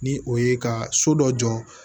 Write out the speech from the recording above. Ni o ye ka so dɔ jɔ